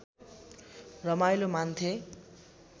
रमाइलो मान्थे